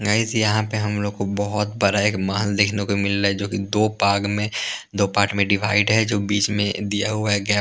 guys यहाँ पे हम लोग को बहुत बड़ा एक महल देखने को मिल रहा है जो कि दो भाग में दो पार्ट में डिवाइड है जो बीच में दिया हुआ है गैप --